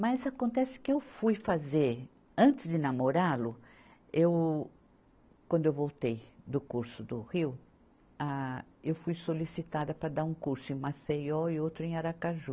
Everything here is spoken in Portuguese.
Mas acontece que eu fui fazer, antes de namorá-lo, eu quando eu voltei do curso do Rio, ah, eu fui solicitada para dar um curso em Maceió e outro em Aracaju.